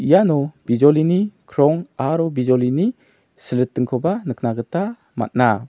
iano bijolini krong aro bijolini silritingkoba nikna gita man·a.